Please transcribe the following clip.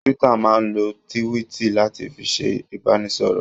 Twitter máa ń lo tíwíìtì láti fi ṣe ìbánisọ̀rọ̀.